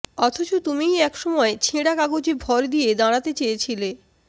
অথচ তুমিই একসময় ছেঁড়া কাগজে ভর দিয়ে দাঁড়াতে চেয়েছিলে